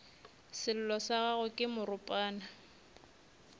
sello sa gagwe ke moropana